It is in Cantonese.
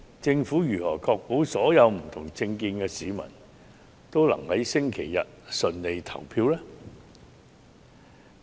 政府如何確保所有不同政見的市民均能在周日順利投票呢？